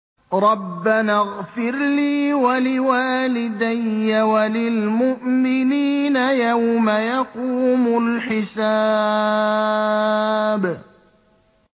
رَبَّنَا اغْفِرْ لِي وَلِوَالِدَيَّ وَلِلْمُؤْمِنِينَ يَوْمَ يَقُومُ الْحِسَابُ